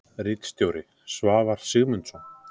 Ritstjóri: Svavar Sigmundsson.